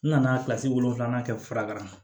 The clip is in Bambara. N nana kilasi wolonwula kɛ fura ma